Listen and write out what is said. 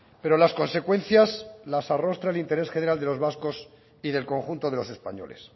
pero las consecuencias las arrostra el interés general de los vascos y del conjunto de los españoles